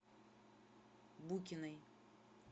букиной